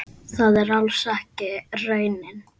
Það er alls ekki raunin.